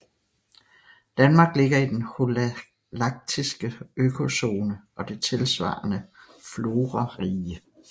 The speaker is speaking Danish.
Danmark ligger i den holaktiske økozone og det tilsvarende florarige